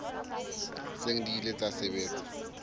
seng di ile tsa sebetsa